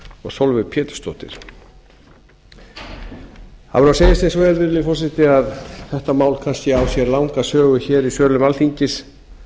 og sólveig pétursdóttir það verður að segjast eins og er virðulegi forseti að þetta mál kannski á sér langa sögu hér í sölum alþingis